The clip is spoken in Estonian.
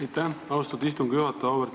Aitäh, austatud istungi juhataja!